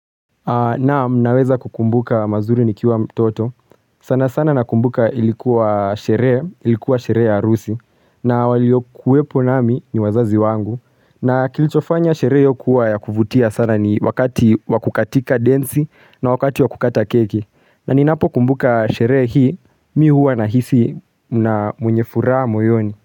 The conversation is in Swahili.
Naam, naweza kukumbuka mazuri nikiwa mtoto, sana sana nakumbuka ilikuwa sheree, ilikuwa sheree ya arusi, na waliyokuwepo nami ni wazazi wangu, na kilichofanya sheree hiyo kuwa ya kuvutia sana ni wakati wa kukatika densi na wakati wa kukata keki, na ninapokumbuka sheree hii, mi huwa nahisi mna mwenye furaa moyoni.